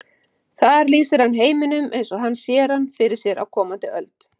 Þar lýsir hann heiminum eins og hann sér hann fyrir sér á komandi öld.